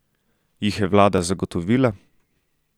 Jih je vlada zagotovila?